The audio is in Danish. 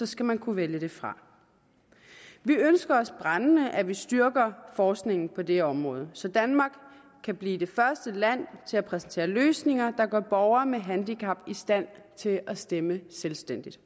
skal man kunne vælge det fra vi ønsker os brændende at man styrker forskningen på det område så danmark kan blive det første land til at præsentere løsninger der gør borgere med handicap i stand til at stemme selvstændigt